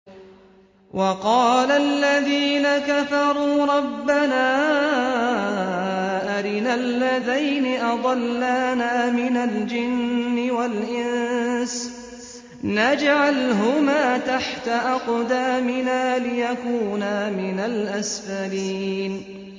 وَقَالَ الَّذِينَ كَفَرُوا رَبَّنَا أَرِنَا اللَّذَيْنِ أَضَلَّانَا مِنَ الْجِنِّ وَالْإِنسِ نَجْعَلْهُمَا تَحْتَ أَقْدَامِنَا لِيَكُونَا مِنَ الْأَسْفَلِينَ